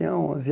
onze.